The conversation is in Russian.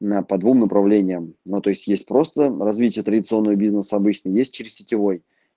на по двум направлениям ну то есть просто развитие традиционного бизнеса обычно есть через сетевой